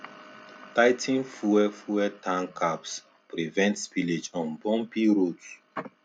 tigh ten fuel fuel tank caps prevent spillage on bumpy roads